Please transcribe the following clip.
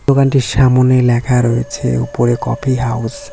দোকানটির সামোনে ল্যাখা রয়েছে ওপরে কফি হাউস ।